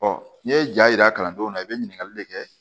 n'i ye ja yira kalandenw na i bɛ ɲininkali de kɛ